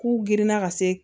K'u girinna ka se